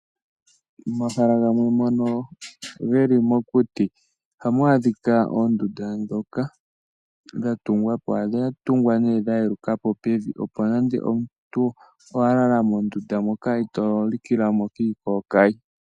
Momahala gamwe ngono geli mokuti ohamu adhika oondundu dha tungwapo. Ohadhi tungwa nee dha yelukapo opo nande omuntu owa lala mondunda moka ito likila mo kiikokayi.